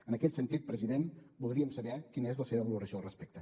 en aquest sentit president voldríem saber quina és la seva valoració al respecte